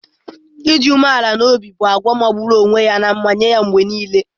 Ịdị umeala n'obi ga-abụ àgwà magburu onwe ya nye ya mgbe nile.